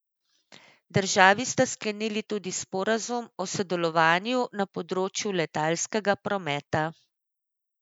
Državi sta sklenili tudi sporazum o sodelovanju na področju letalskega prometa.